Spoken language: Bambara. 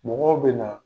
Mɔgɔw bɛ na